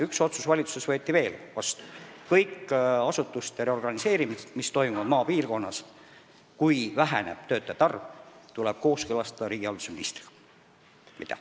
Üks otsus võeti valitsuses veel vastu: kõik asutuste reorganiseerimised, mis toimuvad maapiirkonnas ja kus väheneb töötajate arv, tuleb kooskõlastada riigihalduse ministriga.